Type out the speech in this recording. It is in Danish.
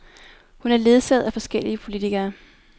Hun er ledsaget af forskellige politikere.